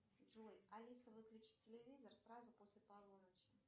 джой алиса выключи телевизор сразу после полуночи